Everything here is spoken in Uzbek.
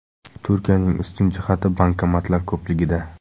Turkiyaning ustun jihati bankomatlar ko‘pligida.